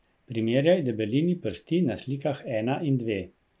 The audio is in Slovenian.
Primerjaj debelini prsti na slikah ena in dve.